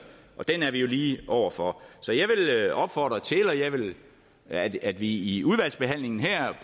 og den står vi jo lige over for så jeg vil opfordre til at at vi i udvalgsbehandlingen her